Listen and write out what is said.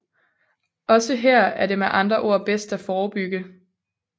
Også her er det med andre ord bedst at forebygge